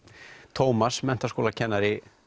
Tómas menntaskólakennari